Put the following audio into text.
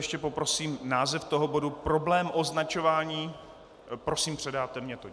Ještě poprosím název toho bodu - problém označování - prosím, předáte mi to.